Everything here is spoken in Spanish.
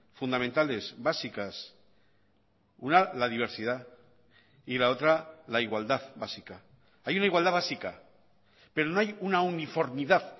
fundamentales básicas una la diversidad y la otra la igualdad básica hay una igualdad básica pero no hay una uniformidad